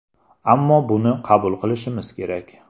Ammo buni qabul qilishimiz kerak.